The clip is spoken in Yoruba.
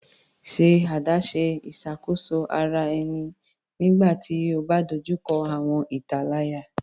Ṣe adaṣe iṣakoso ara ẹni nigbati o ba dojuko awọn italaya